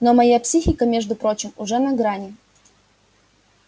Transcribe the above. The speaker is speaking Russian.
но моя психика между прочим уже на грани